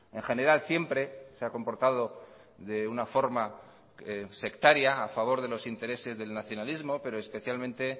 en general siempre se ha comportado de una forma sectaria a favor de los intereses del nacionalismo pero especialmente